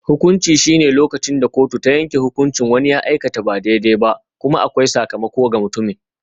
Hukunci shine lokacin da kotu ta yanke hukuncin wani ya aikata ba daidai ba, kuma akwai sakamako ga mutumin.